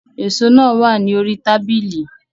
Èso náà wà ní orí tábìlì